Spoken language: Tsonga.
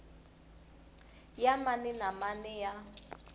ya mani na mani ya